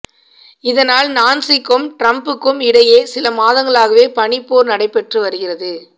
இதனால் நான்சிக்கும் ட்ரம்ப்புக்கும் இடையே சில மாதங்களாகவே பனிப்போர் நடைபெற்று வருகிறது